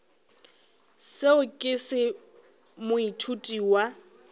seo ke se moithuti wa